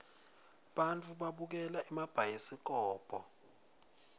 bantfu babukela emabhayisikobo